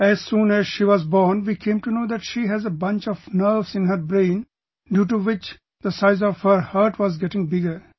As soon as she was born, we came to know that she has a bunch of nerves in her brain due to which the size of her heart was getting bigger